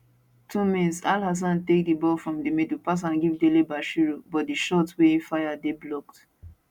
2mins alhassan take di ball from di middle pass am give delebashiru but di shot wey e fire dey blocked